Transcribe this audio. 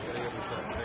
Salon deyirlər bura.